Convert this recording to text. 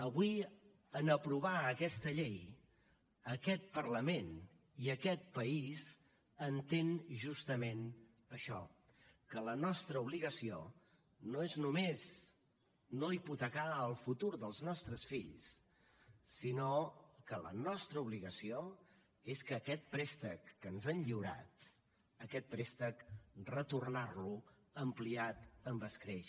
avui en aprovar aquesta llei aquest parlament i aquest país entén justament això que la nostra obligació no és només no hipotecar el futur dels nostres fills sinó que la nostra obligació és que aquest préstec que ens han lliurat aquest préstec retornar lo ampliat amb escreix